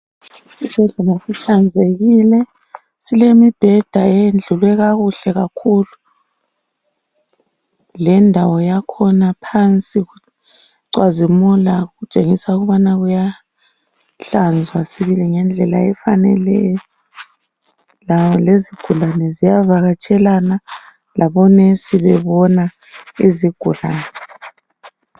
Isibhedlela sihlanzekile. Silemibheda eyendlulwe kakuhle kakhulu. Lendawo yakhona phansi kucwazimula, kutshengisa ukubana kuyahlanzwa sibili ngendlela efaneleyo. Lezigulane ziyavakatshelana. Labonesi bebona izigulane.